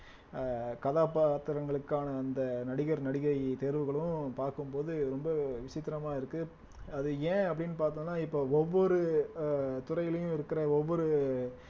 அஹ் கதாபாத்திரங்களுக்கான அந்த நடிகர் நடிகை தேர்வுகளும் பார்க்கும் போது ரொம்ப விசித்திரமா இருக்கு அது ஏன் அப்படீன்னு பார்த்தோம்னா இப்ப ஒவ்வொரு அஹ் துறையிலும் இருக்கிற ஒவ்வொரு